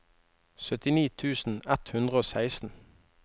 syttini tusen ett hundre og seksten